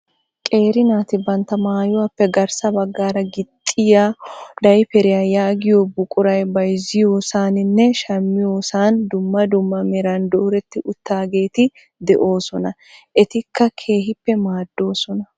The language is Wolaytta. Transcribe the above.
Qeeri naati bantta mayuwaappe garssa baggaara gixxiyaa dayperiyaa yaagiyoo buquray bayzziyoosaninne shammiyoosan dumma dumma meran dooretti uttidageeti de'oosona. etikka keehippe maaddoosona.